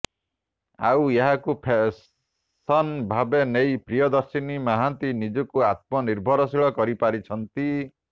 ଆଉ ଏହାକୁ ପ୍ରଫେସନ ଭାବେ ନେଇ ପ୍ରିୟଦର୍ଶିନୀ ମହାନ୍ତି ନିଜକୁ ଆତ୍ମନିର୍ଭରଶୀଳ କରିପାରିଛନ୍ତି